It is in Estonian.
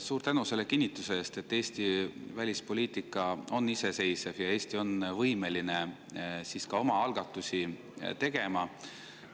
Suur tänu selle kinnituse eest, et Eesti välispoliitika on iseseisev ja Eesti on võimeline ka omaalgatusi tegema.